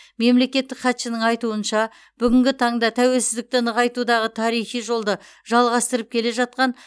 мемлекеттік хатшының айтуынша бүгінгі таңда тәуелсіздікті нығайтудағы тарихи жолды жалғастырып келе жатқан